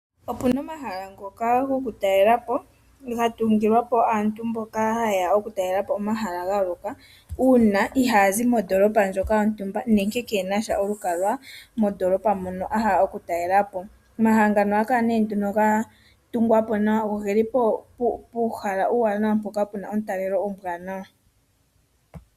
Opu na omahala ngoka gokutalela po ga tungilwa po aantu mboka haye ya okutalela po omahala ga yooloka uuna ihaya zi mondoolopa ndjoka yontumba nenge ke na olukalwa mondoolopa mono a hala okutalela po. Omahala ngaka ohaga kala ga tungwa po nawa go oge li puuhala uuwanawa mpoka pu na omutalelo omuwanawa.